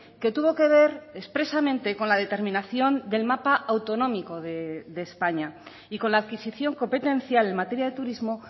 que tuvo que ver expresamente con la determinación del mapa autonómico de españa y con la adquisición competencial en materia de turismo